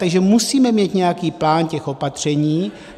Takže musíme mít nějaký plán těch opatření.